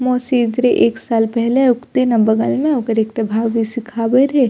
मौसी इधरे एक साल पहले ओते ना बगल में ओकर एकटा भाभी सिखावे रहे --